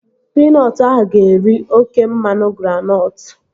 Pinọtụ ahụ ga-eri oké mmanụ granọtụ